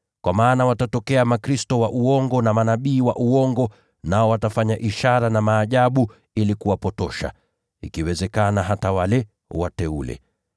Kwa maana watatokea makristo wa uongo na manabii wa uongo, nao watafanya ishara na maajabu ili kuwapotosha, ikiwezekana, hata wale wateule.